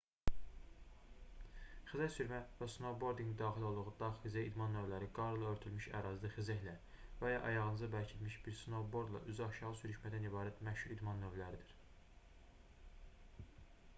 xizəksürmə və snoubordinqin daxil olduğu dağ-xizək idman növləri qarla örtülmüş ərazidə xizəklə və ya ayağınıza bərkidilimiş bir snoubordla üzü aşağı sürüşməkdən ibarət məşhur idman növləridir